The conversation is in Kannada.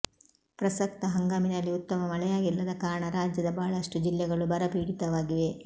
ಪ್ರಸಕ್ತ ಹಂಗಾಮಿನಲ್ಲಿ ಉತ್ತಮ ಮಳೆಯಾಗಿಲ್ಲದ ಕಾರಣ ರಾಜ್ಯದ ಬಹಳಷ್ಟು ಜಿಲ್ಲೆಗಳು ಬರಪೀಡಿತವಾಗಿವೆ